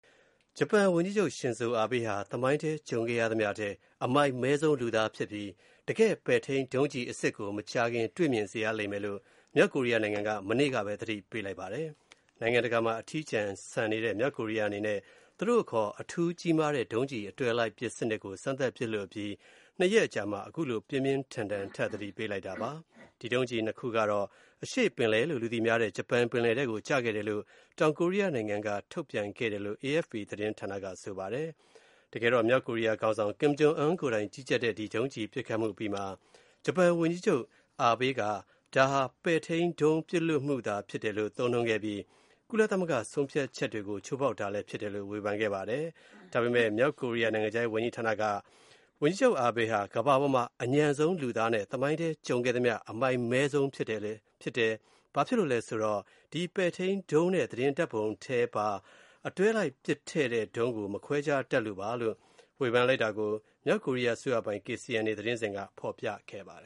ဂျပန်ဝန်ကြီးချုပ် Shinzo Abe ဟာ သမိုင်းမှာ ကြုံခဲ့ရသမျှထဲ “အမိုက်မဲဆုံးလူသား” ဖြစ်ပြီး တကယ့် ပဲ့ထိန်းဒုံးကျည်အစစ်ကို မကြာခင် တွေ့စေရမယ်လို့ မြောက်ကိုရီးယားနိုင်ငံက မနေ့ကပဲ သတိပေးလိုက်ပါတယ်။ နိုင်ငံတကာမှာ အထီးကျန်နေတဲ့ မြောက်ကိုရီးယားအနေနဲ့ သူတို့အခေါ် အထူးကြီးမားတဲ့ ဒုံးကျည်အတွဲလိုက်ပစ်စနစ်ကို စမ်းသပ်ပစ်လွှတ်ပြီး နှစ်ရက်အကြာမှာ ခုလို ပြင်းပြင်းထန်ထန် သတိပေးလိုက်တာပါ။ အဲဒီဒုံးကျည်နှစ်စင်းကတော့ အရှေ့ပင်လယ်လို့ လူသိများတဲ့ ဂျပန်ပင်လယ်ထဲ ကျသွားတယ်လို့ တောင်ကိုရီးယားနိုင်ငံက ထုတ်ပြန်ပါတယ်။ မြောက်ကိုရီးယားခေါင်းဆောင် Khim Jong Un ကိုယ်တိုင် ကြီးကြပ်တဲ့ ဒီဒုံးကျည်ပစ်ခတ်မှု အပြီးမှာ ဂျပန်ဝန်ကြီးချုပ် Abe က ဒါဟာ ပဲ့ထိန်းဒုံး ပစ်လွှွတ်မှုလို့ သုံးနှုန်းခဲ့ပြီး ကုလသမဂ္ဂ ဆုံးဖြတ်ချက်တွေကို ချိုးဖောက်တာလည်းဖြစ်တယ်လို့ ဝေဖန်ခဲ့ပါတယ်။ မြောက်ကိုရီးယား နိုင်ငံခြားရေးဝန်ကြီးဌာနက Abe ဟာ ကမ္ဘာပေါ်မှာ အညံ့ဆုံးလူသားနဲ့ သမိုင်းမှာရှိဖူးသမျှ အမိုက်မဲဆုံးဖြစ်တယ်၊ ဘာလို့လဲဆိုတော့ ပဲ့ထိန်းဒုံးနဲ့ သတင်းဓာတ်ပုံထဲပါ အတွဲလိုက်ပစ်တဲ့ဒုံးကို မခွဲခြားတတ်လို့ပဲဖြစ်တယ်လို့ ဝေဖန်တာကို မြောက်ကိုရီးယား အစိုးရပိုင် KCNA သတင်းဌာနက ဖော်ပြပါတယ